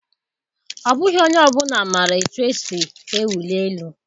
Ọ bụghị onye ọ bụla maara otú e si ewuli elu.